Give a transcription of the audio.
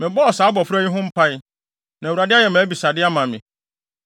Mebɔɔ saa abofra yi ho mpae, na Awurade ayɛ mʼabisade ama me.